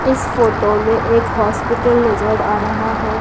इस फोटो में एक हॉस्पिटल नजर आ रहा हैं।